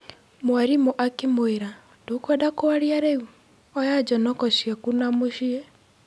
Mwarimũ akĩmũĩra, "ndũkwenda kwaria reu? Oya njonoko ciaku na mũciĩ."